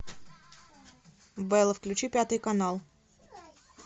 бэлла включи пятый канал